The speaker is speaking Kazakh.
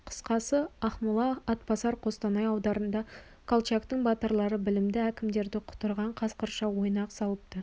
қысқасы ақмола атбасар қостанай аудандарында колчактың батырлары білімді әкімдері құтырған қасқырша ойнақ салыпты